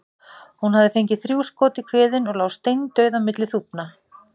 Hún hafði fengið þrjú skot í kviðinn og lá steindauð á milli þúfna.